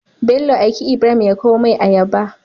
bello aiki ibrahim ya kaw mai ayaba